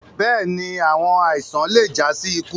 Bẹ́ẹ̀ni, awọn aisan le ja si iku